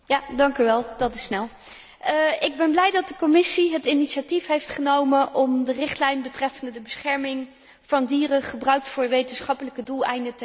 Ik ben blij dat de Commissie het initiatief heeft genomen om de Richtlijn betreffende de bescherming van dieren die voor wetenschappelijke doeleinden worden gebruikt, te herzien.